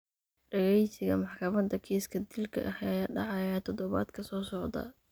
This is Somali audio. Dhageysiga maxkamada kiiska dilka ah ayaa dhacaya todobaadka soo socda.